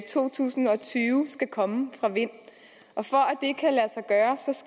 to tusind og tyve skal komme fra vind for